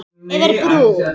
Yfir brú.